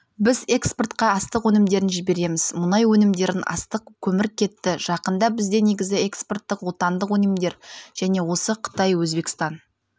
біз экспортқа астық өнімдерін жібереміз мұнай өнімдерін астық көмір кетті жақында бізде негізі экспорттық отандық өнімдер және де осы қытай өзбекстан